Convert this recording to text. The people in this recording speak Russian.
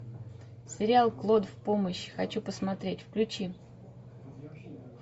сериал клод в помощь хочу посмотреть включи